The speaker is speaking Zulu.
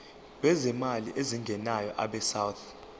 lwezimali ezingenayo abesouth